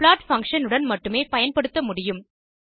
plot function உடன் மட்டுமே பயன்படுத்த முடியும்